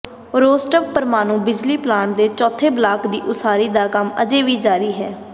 Rostov ਪਰਮਾਣੂ ਬਿਜਲੀ plant ਦੇ ਚੌਥੇ ਬਲਾਕ ਦੀ ਉਸਾਰੀ ਦਾ ਕੰਮ ਅਜੇ ਵੀ ਜਾਰੀ ਹੈ